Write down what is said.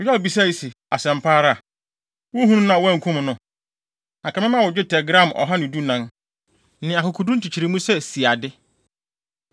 Yoab bisae se, “Asɛm pa ara? Wuhuu no na woankum no? Anka mɛma wo dwetɛ gram ɔha ne dunan (114) ne akokoduru nkyekyeremu sɛ siade.”